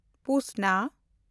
ᱯᱩᱥᱱᱟ